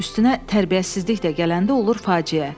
Üstünə tərbiyəsizlik də gələndə olur faciə.